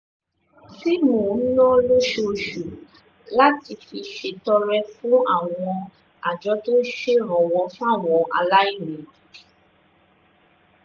tí mò ń ná lóṣooṣù láti fi ṣètọrẹ fún àwọn àjọ tó ń ṣèrànwọ́ fáwọn aláìní